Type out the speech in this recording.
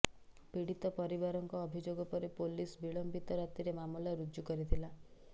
ପୀଡିତ ପରିବାରଙ୍କ ଅଭିଯୋଗ ପରେ ପୋଲିସ ବିଳମ୍ବିତ ରାତିରେ ମାମଲା ରୁଜ୍ଜୁ କରିଥିଲା